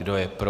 Kdo je pro?